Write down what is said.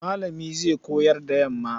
Malami zai koyar da yamma.